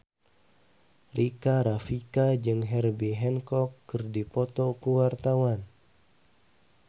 Rika Rafika jeung Herbie Hancock keur dipoto ku wartawan